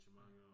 Ja